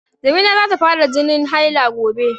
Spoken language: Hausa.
Jamila za ta fara jinin haila gobe.